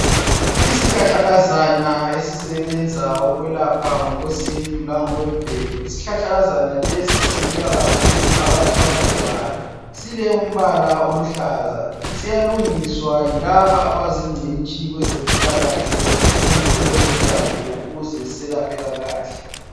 Isihlahla kazana esisebenza ukwelapha ngokwesintu langokwemvelo. Isihlahla kazana lesi simila kakhulu phakathi kwamadwala. Silombala oluhlaza, siyalungiswa yilaba abazingcitshi kwezempilakahle kumbe kwezomdabuko ukuze selaphe kahle.